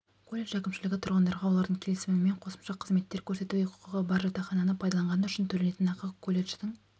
колледж әкімшілігі тұрғындарға олардың келісімімен қосымша қызметтер көрсетуге құқығы бар жатақхананы пайдаланғаны үшін төленетін ақы колледждің